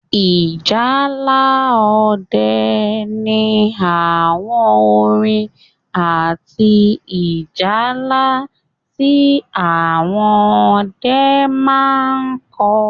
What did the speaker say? Ìjálá ọdẹ ní àwọn orin àti ìjálá tí àwọn ọdẹ máa n kọ